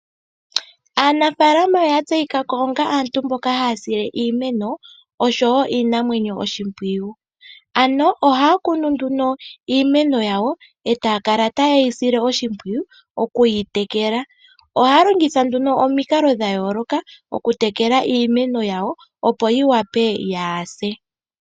Aanafaalama oya tseyika ko onga aantu mboka haya sile iimeno nosho wo iinamwenyo oshimpwiyu, ano ohaya kunu nduno iimeno yawo etaya kala ta yeyi sile oshimpwiyu okuyi tekela ohaya longitha nduno omikalo dha yooloka okutekela iimeno yawo opo yi wape yaase.